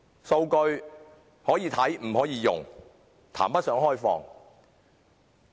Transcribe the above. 數據可看不可用，談不上開放。